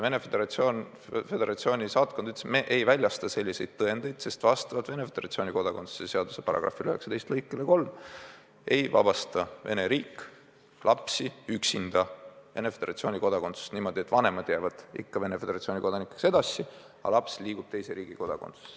Venemaa Föderatsiooni saatkond ütles, et me ei väljasta selliseid tõendeid, sest vastavalt Venemaa Föderatsiooni kodakondsuse seaduse §-le 19 lõikele 3 ei vabasta Vene riik lapsi Venemaa Föderatsiooni kodakondsusest niimoodi, et vanemad jäävad Venemaa Föderatsiooni kodanikeks edasi, aga laps liigub teise riigi kodakondsusesse.